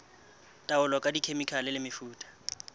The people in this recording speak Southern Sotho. taolo ka dikhemikhale le mefuta